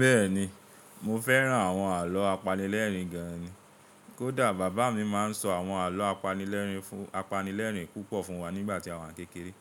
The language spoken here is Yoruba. Bẹ́ẹ̀ni, mo fẹ́ràn àwọn àlọ́ apanilẹ́rìn gan ni. Kódà bàbá mi máa ń sọ àwọn àlọ́ apanilerin fun apanilẹ́rìn púpọ̀ fún wa nígbà tí a wà n kékeré.